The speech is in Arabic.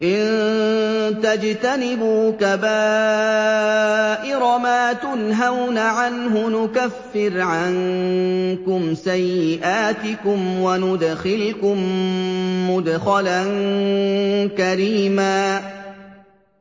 إِن تَجْتَنِبُوا كَبَائِرَ مَا تُنْهَوْنَ عَنْهُ نُكَفِّرْ عَنكُمْ سَيِّئَاتِكُمْ وَنُدْخِلْكُم مُّدْخَلًا كَرِيمًا